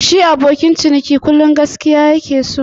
Shi abokin ciniki kullu ma gaskiya ya ke.